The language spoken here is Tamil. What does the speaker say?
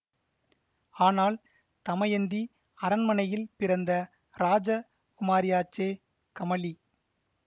ஆனால் தமயந்தி அரண்மனையில் பிறந்த ராஜ குமாரியாச்சே கமலி